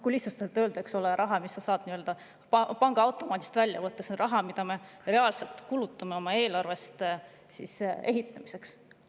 Kui lihtsustatult öelda, siis see on raha, mille sa saad pangaautomaadist välja võtta, see on raha, mida me reaalselt kulutame oma eelarvest ehitamiseks.